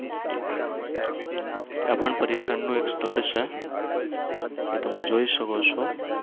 ત્યાં પણ પર્યટનનું એક સ્થળ છે. એ તમે જોઈ શકો છો.